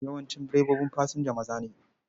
Yawancin direbobin fasinja maza ne.